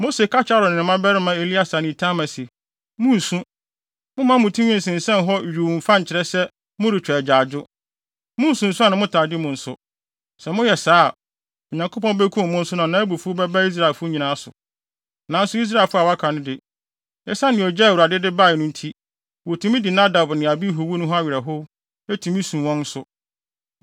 Mose ka kyerɛɛ Aaron ne ne mmabarima Eleasar ne Itamar se, “Munnsu. Mommma mo tinwi nsensɛn hɔ yuu mmfa nkyerɛ sɛ moretwa agyaadwo. Munnsunsuane mo ntade mu nso. Sɛ moyɛ saa a, Onyankopɔn bekum mo nso na nʼabufuw bɛba Israelfo nyinaa so. Nanso Israelfo a wɔaka no de, esiane ogya a Awurade de bae no nti, wotumi di Nadab ne Abihu wu no ho awerɛhow, tumi su wɔn nso.